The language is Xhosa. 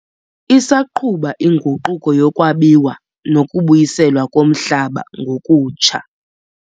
Isaqhutywa inguquko yokwabiwa nokubuyiselwa komhlaba ngokutsha.